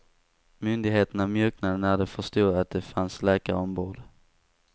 Myndigheterna mjuknade när de förstod att det fanns läkare ombord.